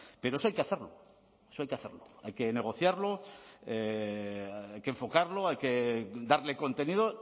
pero eso hay que hacerlo hay que negociarlo hay que enfocarlo hay que darle contenido